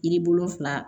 Yiri wolonfila